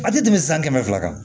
A tɛ tɛmɛ san kɛmɛ fila kan